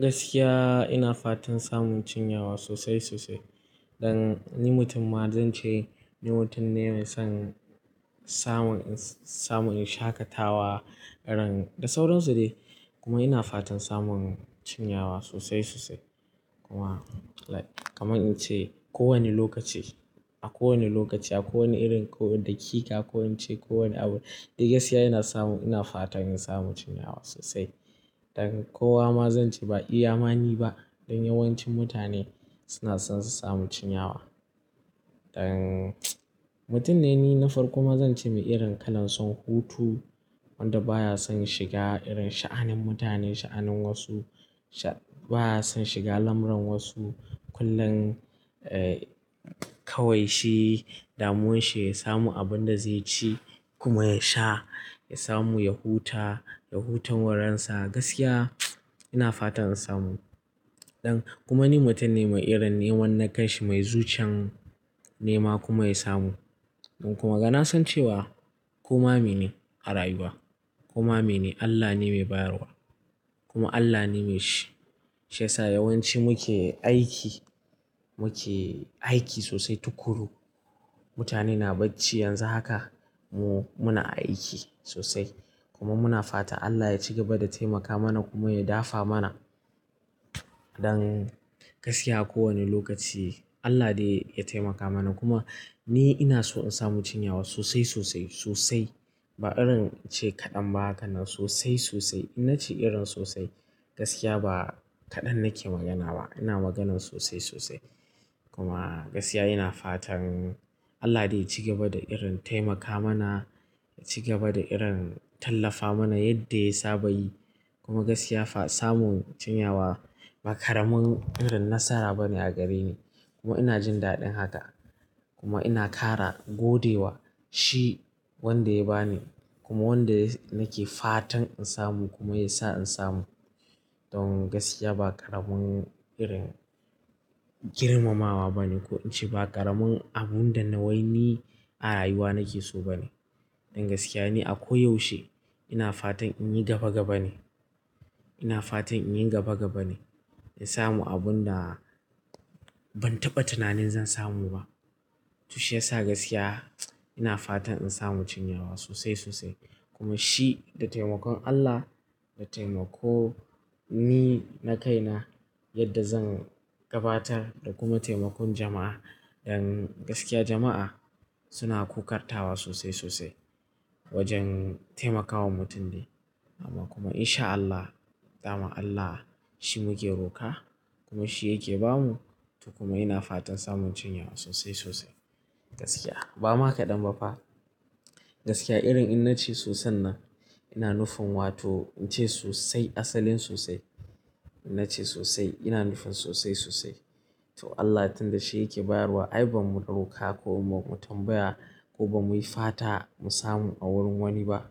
Gaskiya ina fatan samun cinyawa sosai sosai. Dan ni mutum ma zan ce ni mutum ne mai son samun, samun shakatawa ran da sauran su dai. Kuma ina fatan samun cinyawa sosai sosai. Kuma kamar in ce ko wani lokaci a kowane lokaci, a kowane irin, ko da kika, ko in ce ko wane abu. Da gaskiya ina samu, ina fatan in samu cinyawa sosai. Dan kowa ma zan ce ba iya mani ba, dan yawancin mutane suna son su samu cinyawa. Dan mutum ne ni na farko ma zan ce mai irin kalan son hutu wanda baya son shiga irin sha'anin mutane, sha'anin wasu. Ba ya son shiga lamuran wasu. Kullum kawai shi damuwan shi ya samu abin da zai ci kuma ya sha, ya samu, ya huta, ya huton wurin sa. Gaskiya ina fatan in samu. Dan kuma ni mutum ne mai irin neman na kanshi mai zuciyan nema kuma ya samu. Dan kuma ga na san cewa koma me ne a rayuwa. Koma me ne Allah ne mai bayarwa kuma Allah ne mai shi. Shi yasa yawanci muke aiki, muke aiki sosai tukuru. Mutane na bacci yanzu haka mu muna aiki sosai kuma muna fata Allah ya ci gaba da taimaka mana kuma ya dafa mana. Don gaskiya ko wane lokaci Allah de ya taimaka mana. Kuma ni ina so in samu cinyawa sosai sosai sosai. Ba irin in ce kaɗan ba ka nan sosai sosai. In na ce irin sosai gaskiya ba kaɗan nake magana ba. Ina maganan sosai sosai. Kuma gaskiya ina fatan Allah dai ya ci gaba da irin taimaka mana, ya ci gaba da irin tallafa mana yadda ya saba yi. Kuma gaskiya fa samun cinyawa ba ƙaramin irin nasara bane a gare ni. Kuma ina jin daɗin haka kuma ina ƙara gode wa shi wanda ya ba ni kuma wanda nake fatan in samu kuma ya sa in samu. Don gaskiya ba ƙaramin irin girmamawa bane ko in ce ba ƙaramin abun da na waini a rayuwa nake so bane. Don gaskiya ni a ko yaushe ina fatan in yi gaba gaba ne. Ina fatan in yi gaba gaba ne, in samu abun da ban taɓa tunanin zan samu ba. To shiyasa gaskiya ina fatan in samu cinyawa sosai sosai. Kuma shi da taimakon Allah, da taimako ni na kaina yadda zan gabatar da kuma taimakon jama'a. Dan gaskiya jama'a suna kukartawa sosai sosai wajen taimakawa mutum ne. Amma kuma insha Allah, daman Allah shi muke roƙa kuma shi yake ba mu. To kuma ina fatan samun cinyawa sosai sosai. Gaskiya bama kaɗan ba fa. Gaskiya irin in na ce soson nan ina nufin wato in ce sosai asalin sosai. In na ce sosai ina nufin sosai sosai. To Allah tun da shi yake bayarwa ai ba mu ɗauka ko mu tambaya ko ba mu yi fata mu samu a wurin wani ba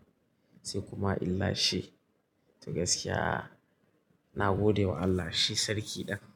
sai kuma illa shi. To gaskiya ina gode wa Allah shi sarki ɗin.